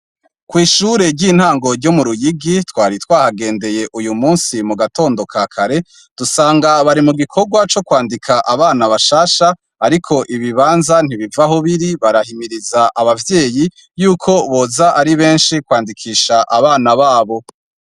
Kw'ishure ry'intango ryo mu Ruyigi twari twahagendeye uyu musi mu gatondo ka kare, dusanga bari mu gikorwa co kwandika abana bashasha ariko ibibanza ntibiva aho biri. Barahimiriza abavyeyi yuko boza ari benshi kwandikisha abana babo.